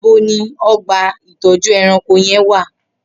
Nibọ ni ọgba itọjú ẹ̀rãnkó yèn wà?